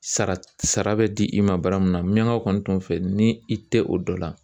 Sara sara bɛ di i ma bara mun na miɲankaw kɔni tun fɛ ni i tɛ o dɔ la